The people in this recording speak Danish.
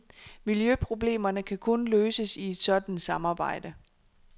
Miljøproblemerne kan kun løses i et sådant samarbejde.